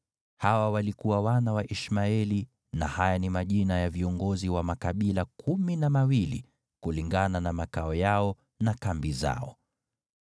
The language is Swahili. Hawa walikuwa wana wa Ishmaeli na haya ni majina ya viongozi wa makabila kumi na mawili kulingana na makao yao na kambi zao.